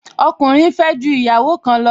Ọkùnrin fẹ́ ju ìyàwó kan lọ